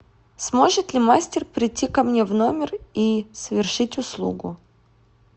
сможет ли мастер прийти ко мне в номер и совершить услугу